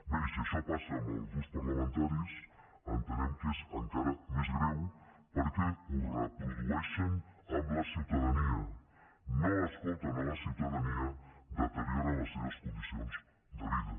bé i si això passa amb els grups parlamentaris entenem que és encara més greu perquè ho reprodueixen amb la ciutadania no escolten la ciutadania i deterioren les seves condicions de vida